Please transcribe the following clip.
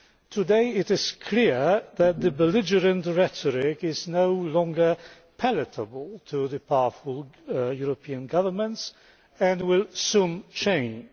Today it is clear that the belligerent rhetoric is no longer palatable to the powerful European governments and will soon change.